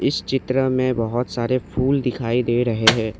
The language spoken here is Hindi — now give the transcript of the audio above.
इस चित्र में बहोत सारे फूल दिखाई दे रहे हैं।